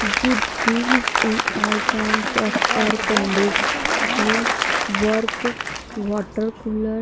with deals a all kinds of air conditioning